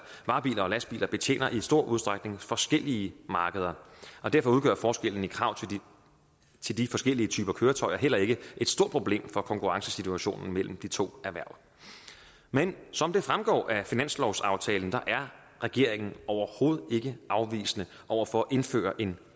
varebiler og lastbiler betjener i stor udstrækning forskellige markeder og derfor udgør forskellen i krav til de forskellige typer køretøjer heller ikke et stort problem for konkurrencesituationen mellem de to erhverv men som det fremgår af finanslovsaftalen er regeringen overhovedet ikke afvisende over for at indføre en